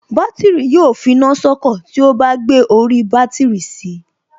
Bátìrì yóò finá sọ́kọ̀ tí ó bá gbé orí bátìrì si